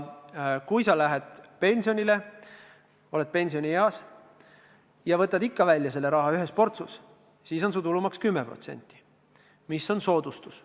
Kui sa lähed pensionile, oled pensionieas, ja võtad selle raha välja ühe portsuna, siis on su tulumaks 10%, mis on soodustus.